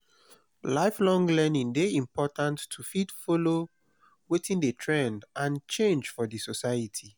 lifelong learning de important to fit follow wetin de trend and change for di society